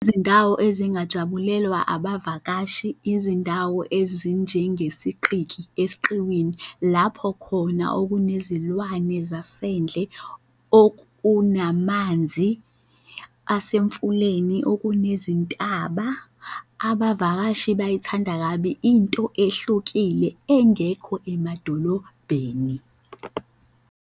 Izindawo ezingajabulelwa abavakashi, izindawo ezinjenge siqiki, esiqiwini lapho khona okunezilwane zasendle, okunamanzi asemfuleni, okunezintaba, abavakashi bayithanda kabi into ehlukile engekho emadolobheni.